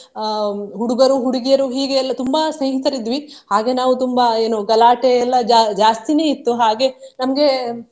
ಅಹ್ ಹುಡುಗರು ಹುಡುಗಿಯರು ಹೀಗೆ ಎಲ್ಲಾ ತುಂಬಾ ಸ್ನೇಹಿತರು ಇದ್ವಿ. ಹಾಗೆ ನಾವು ತುಂಬಾ ಏನು ಗಲಾಟೆ ಎಲ್ಲ ಜಾ~ ಜಾಸ್ತಿನೆ ಇತ್ತು ಹಾಗೆ ನಮ್ಗೆ.